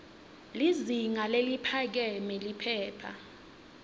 lizinga leliphakeme liphepha